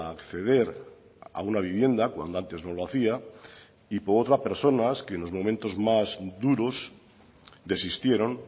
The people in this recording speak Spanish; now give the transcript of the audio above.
acceder a una vivienda cuando antes no lo hacía y por otra personas que en los momentos más duros desistieron